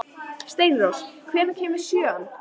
Steinrós, hvenær kemur sjöan?